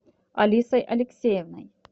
алисой алексеевной